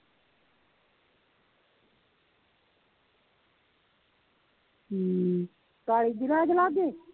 ਕਾਲੀ ਜੀ ਰਾਜ ਲਾਗੇ?